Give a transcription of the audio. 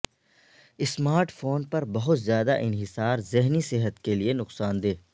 smart phone پر بہت زیادہ انحصار ذہنی صحت کیلئے نقصان دہ